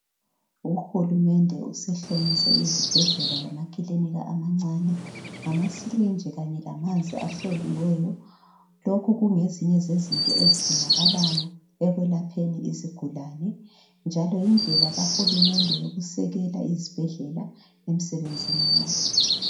Uhulumende usehlomise izibhedlela lama kilinika amancane ngamasirinji kanye lamanzi ahloliweyo. Lokhu kungezinye zezinto ezidingakalayo ekwelapheni izigulani Njalo yindlela kahulumende yokusekela izibhedlela emsebenzini lo.